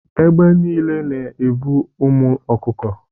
Egbe nile na-evu ụmụ ọkụkọ.